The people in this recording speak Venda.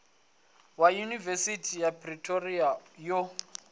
ya yunivesithi ya pretoria yo